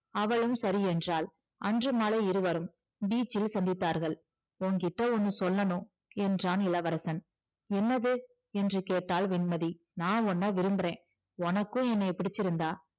அவளும் சரி என்றாள் அன்று மாலை இருவரும் beach இல் சந்தித்தார்கள் உன்கிட்ட ஒண்ணு சொல்லணும் என்றான் இளவரசன் என்னது என்று கேட்டாள் வெண்மதி நான் உன்னை விரும்புறேன் உனக்கும் என்னைய பிடிச்சிருந்தா